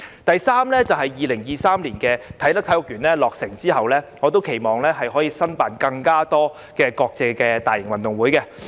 第三，隨着啟德體育園於2023年落成，我期望香港可以申辦更多國際大型運動會。